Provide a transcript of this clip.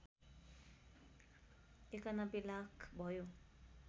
९१ लाख भयो